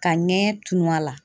Ka ŋɛɲɛ tunun a la.